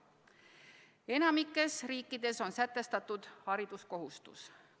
Enamikus riikides on sätestatud hariduskohustus.